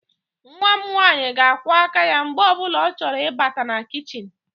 Nwa m nwaanyị ga-akwọ aka ya mgbe ọbụla ọ chọrọ Ị bata na kichin.